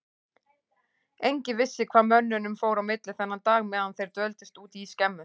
Enginn vissi hvað mönnunum fór á milli þennan dag meðan þeir dvöldust úti í skemmu.